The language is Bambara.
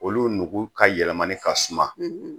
Olu nugu ka yɛlɛmani ka suma